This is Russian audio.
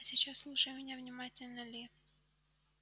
а сейчас слушай меня внимательно ли